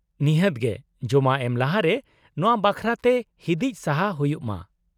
ᱱᱤᱦᱟᱹᱛ ᱜᱮ, ᱡᱚᱢᱟ ᱮᱢ ᱞᱟᱦᱟᱨᱮ ᱱᱚᱶᱟ ᱵᱟᱠᱷᱨᱟᱛᱮ ᱛᱮ ᱦᱤᱸᱫᱤᱡ ᱥᱟᱦᱟ ᱦᱩᱭᱩᱜ ᱢᱟ ᱾